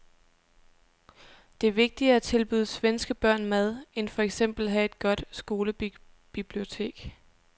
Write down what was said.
Det er vigtigere at tilbyde svenske børn mad end for eksempel at have et godt skolebibliotek.